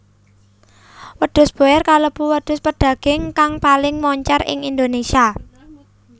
Wedhus boer kalebu wedhus pedaging kang paling moncèr ing Indonésia